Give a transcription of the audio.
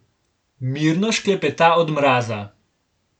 Mirno šklepeta od mraza.